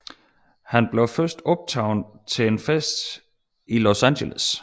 Han blev først opdaget til en fest i Los Angeles